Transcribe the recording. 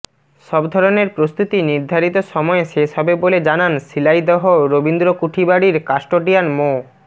সব ধরনের প্রস্তুতি নির্ধারিত সময়ে শেষ হবে বলে জানান শিলাইদহ রবীন্দ্র কুঠিবাড়ির কাস্টোডিয়ান মো